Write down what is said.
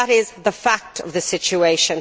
That is the fact of the situation.